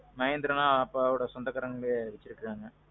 mahindraனா அப்பாவோட சொந்தக்காரங்களே இருக்கிறாங்க.